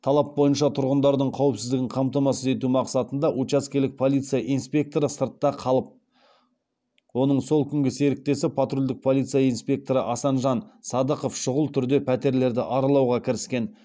талап бойынша тұрғындардың қауіпсіздігін қамтамасыз ету мақсатында учаскелік полиция инспекторы сыртта қалып оның сол күнгі серіктесі патрульдік полиция инспекторы асанжан садықов шұғыл түрде пәтерлерді аралауға кіріскен